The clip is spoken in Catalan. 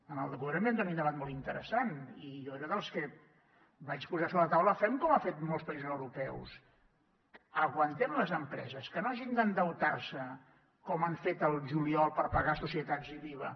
en el seu moment hi va haver un debat molt interessant i jo era dels que vaig posar sobre la taula fem com han fet molts països europeus aguantem les empreses que no hagin d’endeutar se com han fet al juliol per pagar societats i l’iva